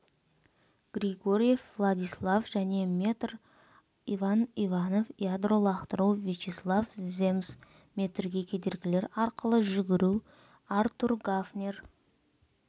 григорьев владислав және метр иван иванов ядро лақтыру вячеслав земс метрге кедергілер арқылы жүгіру артур гафнер